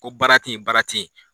Ko baara te yen baara te yen